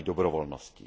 její dobrovolností.